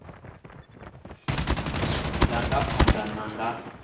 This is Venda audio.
ḓa nga phanḓa na nga